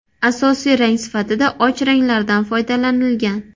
Asosiy rang sifatida och ranglardan foydalanilgan.